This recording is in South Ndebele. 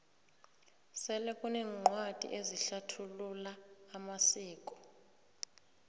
sele kuneencwadi ezihlathulula amasiko